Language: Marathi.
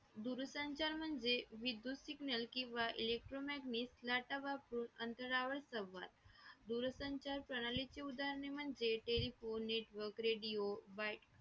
दूरसंचार म्हणजे विद्युत signal किंवा electromagnius data वापरून अंतरावर संवाद दूरसंचार प्रणालीचे उदाहरणे म्हणजे टेलिफोन network radio buy